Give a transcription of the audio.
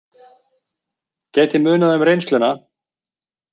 Gæti munað um reynsluna